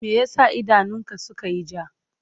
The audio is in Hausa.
Me ya sa idanunka suka yi ja?